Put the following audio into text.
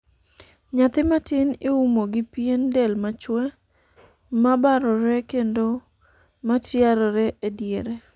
nyathi matin iumo gi pien del machwe ,mabarore kendo ma tiarore e diere